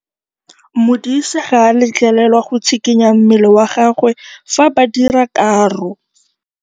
Modise ga a letlelelwa go tshikinya mmele wa gagwe fa ba dira karô.